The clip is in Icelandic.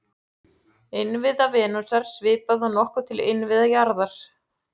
Innviða Venusar svipar nokkuð til innviða jarðar.